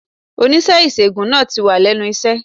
Onímò ìṣègùn náà tì wà lénu iṣé